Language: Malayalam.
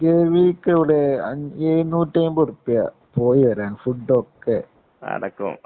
ഗവിക്കിവിടെ അന് എഴുന്നൂറ്റി അയ്മ്പത് റുപ്പിക പോയിവരാന്‍ ഫുഡ് ഒക്കെ അടക്കം